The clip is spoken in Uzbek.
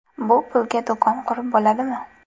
Bu pulga do‘kon qurib bo‘ladimi?